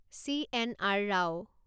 C N R Rao